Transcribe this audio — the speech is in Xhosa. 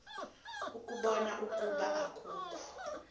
ukubona ukuba akukho